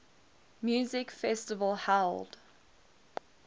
music festival held